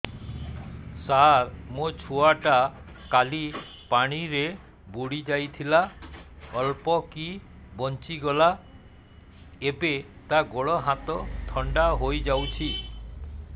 ସାର ମୋ ଛୁଆ ଟା କାଲି ପାଣି ରେ ବୁଡି ଯାଇଥିଲା ଅଳ୍ପ କି ବଞ୍ଚି ଗଲା ଏବେ ତା ଗୋଡ଼ ହାତ ଥଣ୍ଡା ହେଇଯାଉଛି